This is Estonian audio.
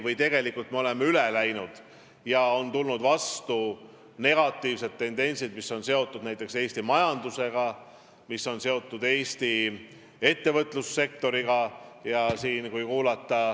Vahest oleme sellest üle läinud ja nii on tekkinud negatiivsed tendentsid, mis on seotud Eesti majandusega, Eesti ettevõtlussektoriga.